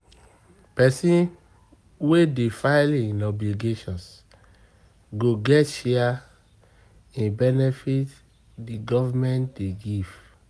Pesin wey dey file im obligations go get share in benefit di government dey give